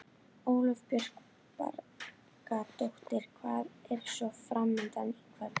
Ólöf Björk Bragadóttir: Hvað er svo framundan í kvöld?